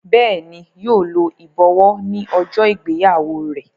Béèni yíò ló ibọwọ ní ojó ìgbéyàwó rẹ.